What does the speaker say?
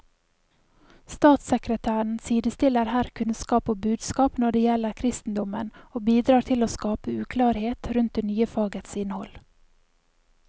Statssekretæren sidestiller her kunnskap og budskap når det gjelder kristendommen, og bidrar til å skape uklarhet rundt det nye fagets innhold.